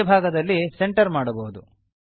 ಮಧ್ಯಭಾಗದಲ್ಲಿ ಸೆಂಟರ್ ಮಾಡುವುದು